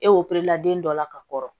E operelila den dɔ la ka kɔrɔ